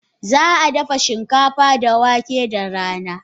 Za a dafa shinkafa da wake da rana?